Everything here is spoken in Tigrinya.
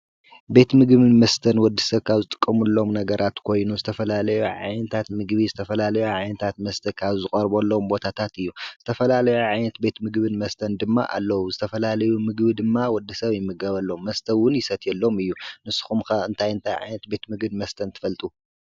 ቤት ምግብን መስተን ወዲ ሰካብ ዝጥቀሙሎም ነገራት ኮይኑ ዝተፈላለዩ ዓይንታት ምግቢ ዝተፈላለዩ ዓይንታት መስተካብ ዝቖርቦ ኣሎም ቦታታት እዩ ዝተፈላለዩ ዓይንት ቤት ምግብን መስተን ድማ ኣለዉ ዝተፈላለዩ ምግቢ ድማ ወዲ ሰብ ይምገበሎም መስተውን ይሰትየሎም እዩ ንስኹምካ እንታይንታይ ዓይንት ቤት ምግን መስተን ትፈልጡ?